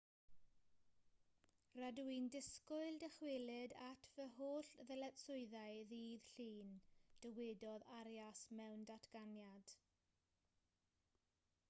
rydw i'n disgwyl dychwelyd at fy holl ddyletswyddau ddydd llun dywedodd arias mewn datganiad